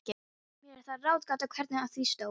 Mér er það ráðgáta, hvernig á því stóð.